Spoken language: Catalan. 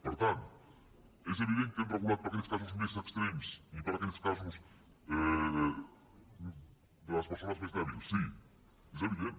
per tant és evident que hem regulat per a aquells casos més extrems i per a aquells casos de les persones més dèbils sí és evident